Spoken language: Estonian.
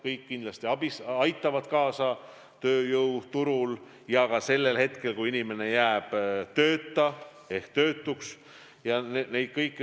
Kõik see kindlasti aitaks kaasa tööjõuturu kindlustamisele ja toetaks inimesi, kui nad tööta.